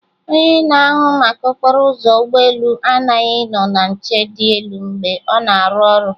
Onye na-ahụ maka okporo ụzọ ụgbọ elu aghaghị ịnọ na nche dị elu mgbe ọ na-arụ ọrụ